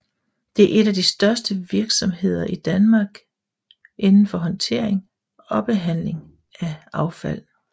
Det er et de største virksomheder i Danmark inden for håndtering og behandling af affald